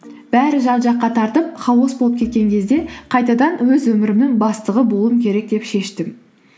бәрі жан жаққа тартып хаос болып кеткен кезде қайтадан өз өмірімнің бастығы болуым керек деп шештім